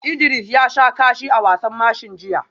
Idris ya sha kashi a wasan mashin jiya